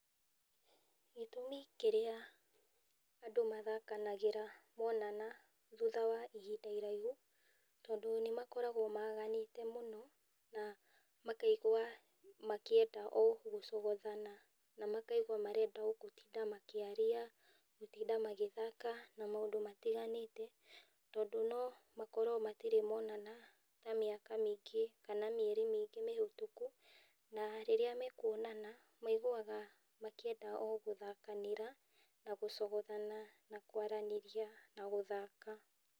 Gĩtũmi kĩrĩa andũ mathakanagĩra monana thũtha wa ihinda iraihu, tondũ nĩ makoragwo maganĩte mũno, na makaigua makienda o gũcogothana , na makaigwa marenda o magĩtinda makĩaria, gũtinda magĩthaka na maũndũ matiganĩte, tondũ no makorwo matirĩ monana ta miaka mĩingĩ , kana mieri mĩingĩ mĩhũtũkũ, na rĩrĩa makuonana maiguaga makĩenda o gũthakanĩra , na gũcogothana na kwaranĩria na gũthaka.